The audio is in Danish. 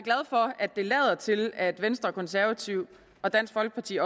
for at det lader til at venstre og konservative og dansk folkeparti